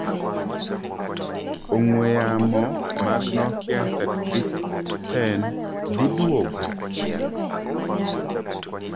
Ong'wee yamo mag Nokia 3310 dhiiduogo?